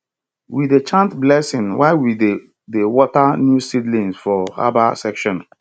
we dey chant blessing while we dey dey water new seedlings for herbal section